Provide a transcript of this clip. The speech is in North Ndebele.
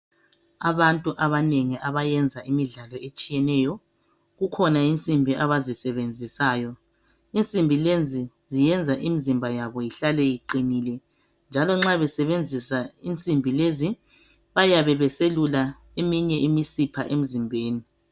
Abantu abanengi abayenza imidlalo etshiyeneyo, kukhona insimbi abazisebenzisayo. Insimbi lezi ziyenza imizimba yabo ihlale iqinile njalo nxa besebenzisa imsimbi lezi bayabe beselula eminye imisipha emzimbeni.